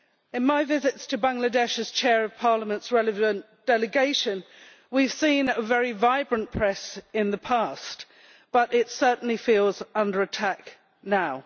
In my visits to Bangladesh as Chair of Parliament's relevant delegation, we have seen a very vibrant press in the past, but it certainly feels under attack now.